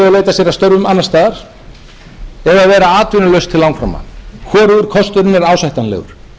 að störfum annars staðar eða vera atvinnulaust til langframa hvorugur kosturinn er ásættanlegur